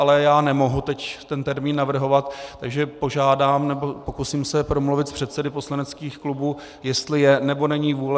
Ale já nemohu teď ten termín navrhovat, takže požádám, nebo pokusím se promluvit s předsedy poslaneckých klubů, jestli je, nebo není vůle.